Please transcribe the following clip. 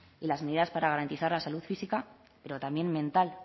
y las medidas para garantizar la salud física pero también mental